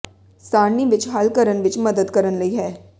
ਸਾਰਣੀ ਵਿੱਚ ਹੱਲ ਕਰਨ ਵਿੱਚ ਮਦਦ ਕਰਨ ਲਈ ਹੈ